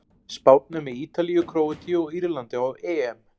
Spánn er með Ítalíu, Króatíu og Írlandi á EM.